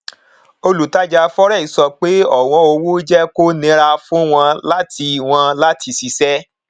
olùtajà fx sọ pé ọwọn owó jẹ kó nira fún wọn láti wọn láti ṣiṣẹ